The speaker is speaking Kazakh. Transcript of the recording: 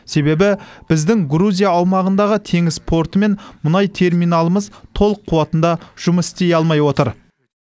себебі біздің грузия аумағындағы теңіз порты мен мұнай терминалымыз толық қуатында жұмыс істей алмай отыр